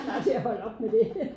Snart til at holde op med det